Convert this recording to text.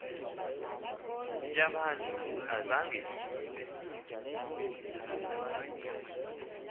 yabantu ayizanga ibe